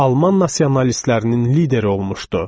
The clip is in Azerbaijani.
Alman nasionalistlərinin lideri olmuşdu.